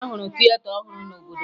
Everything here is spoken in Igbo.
A rụrụ tieta ọhụrụ n'obodo m